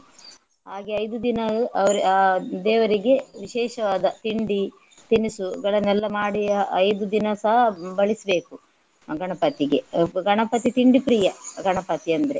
ಹಾಗೆ ಐದು ದಿನ ಅವ್ರು ಆ ದೇವರಿಗೆ ವಿಶೇಷವಾದ ತಿಂಡಿ ತಿನಿಸುಗಳನ್ನೆಲ್ಲ ಮಾಡಿ ಐದು ದಿನಸಾ ಬಡಿಸ್ಬೇಕು ಗಣಪತಿಗೆ. ಗಣಪತಿ ತಿಂಡಿ ಪ್ರಿಯ ಗಣಪತಿ ಅಂದ್ರೆ.